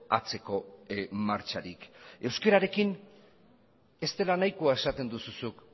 atzeko martxarik euskararekin ez dela nahikoa esaten duzu zuk